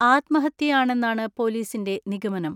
ആത്മഹത്യയാണെന്നാണ് പൊലീസിന്റെ നിഗമനം.